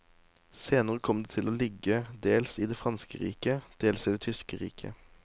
Senere kom det til å ligge dels i det franske riket, dels i det tyske riket.